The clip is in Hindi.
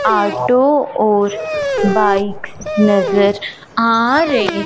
ऑटो और बाइक्स नजर आ रहे--